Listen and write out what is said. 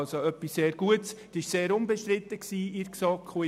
Es handelt sich also um etwas sehr Gutes und seitens der GSoK Unbestrittenes.